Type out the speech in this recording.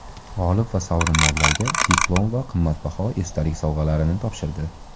G‘olib va sovrindorlarga diplom va qimmatbaho esdalik sovg‘alarini topshirdi.